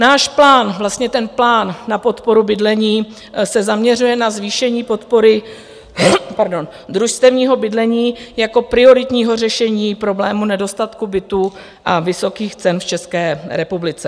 Náš plán, vlastně ten plán na podporu bydlení se zaměřuje na zvýšení podpory družstevního bydlení jako prioritního řešení problému nedostatku bytů a vysokých cen v České republice.